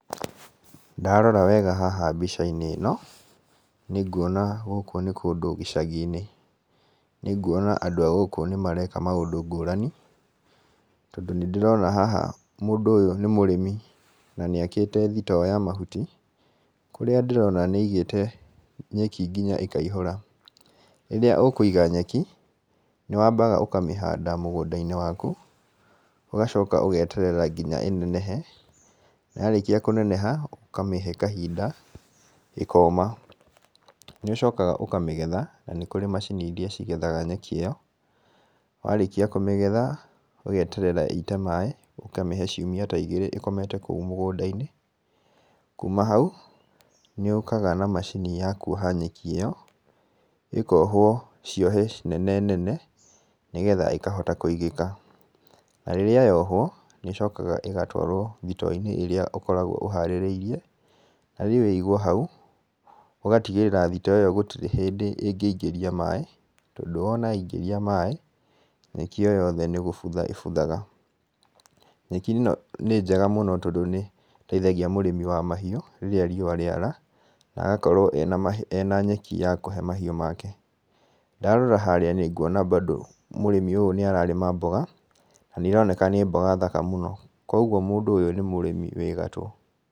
Ndarora wega mbica-inĩ ĩno, nĩ nguona gũkũ nĩ kũndũ gĩcagi-inĩ. Nĩ nguona andũ a gũkũ nĩ mareka maũndũ ngũrani, tondũ nĩ ndĩrona haha mũndũ ũyũ nĩ mũrĩmi na nĩ akĩte thitoo ya mahuti. Kũrĩa ndĩrona nĩ aigĩte nyeki nginya ĩkaihura. Rĩrĩa ũkũiga nyeki, nĩ wambaga ũkamĩhanda mũgũnda-inĩ waku, ũgacoka ũgeterera nginya ĩnenehe, yarĩkia kũneneha ũkamĩhe kahinda ĩkoma. Nĩ ũcokaga ũkamĩgetha na nĩ kũrĩ macini irĩa igethaga nyeki ĩyo. Warĩkia kũmĩgetha ũgeterera ĩite maĩ, ũkamĩhe ciumia ta igĩrĩ ĩkomete kũu mũgũnda-inĩ. Nĩ ũkaga na macini ya kuoha nyeki ĩyo, ĩkohwo ciohe nene nene nĩgetha ĩkahota kũigĩka. Na rĩrĩa yohwo nĩ ĩcokaga ĩgatwarwo thito-inĩ ĩrĩa ũkoragwo ũhaarĩrĩirie harĩ ĩigwo hau, ũgatigĩrĩrĩra thito ĩyo gũtirĩ hĩndĩ ĩngĩingĩria maĩ tondũ wona yaingĩria maĩ, nyeki ĩyo yothe nĩ gũbutha ĩbuthaga. Nyeki ĩno nĩ njega mũno tondũ nĩ ĩteithagia mũrĩmi wa mahiũ rĩrĩa rĩua rĩara na agakorwo ena nyeki ya kũhe mahiũ make. Ndarora harĩa nĩ nguona bando mũrĩmi ũyũ nĩ ararĩma mboga, na nĩ ironeka nĩ mboga thaka mũno. Koguo mũndũ ũyũ nĩ mũrĩmi wĩ gatũ.